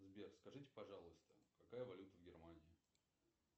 сбер скажите пожалуйста какая валюта в германии